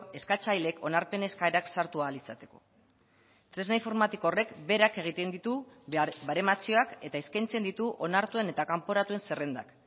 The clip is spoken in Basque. eskatzaileek onarpen eskaerak sartu ahal izateko tresna informatiko horrek berak egiten ditu baremazioak eta eskaintzen ditu onartuen eta kanporatuen zerrendak